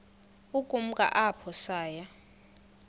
ukumka apho saya